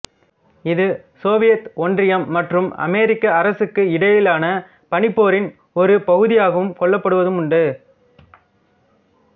இது சோவியத் ஒன்றியம் மற்றும் அமெரிக்க அரசுக்கு இடையிலான பனிபோரின் ஒரு பகுதியாவும் கொள்ளப்படுவதுண்டு